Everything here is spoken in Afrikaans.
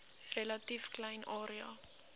relatief klein area